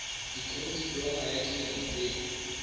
dikri diploma ya dilemo tse